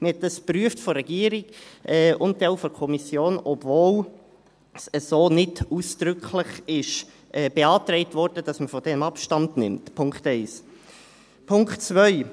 Dies wurde von der Regierung und dann auch von der Kommission geprüft, obwohl nicht ausdrücklich beantragt worden war, davon Abstand zu nehmen – Punkt 1. Punkt 2: